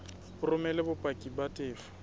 o romele bopaki ba tefo